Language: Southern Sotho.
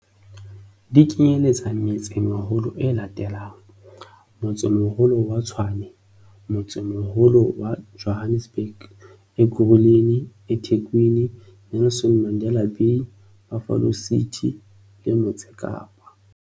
Di kenyeletsa metse-meholo ena e latelang- Motsemoholo wa Tshwane Motsemoholo wa Johannesburg Ekurhuleni eThekwini Nelson Mandela Bay Buffalo City le Motse Kapa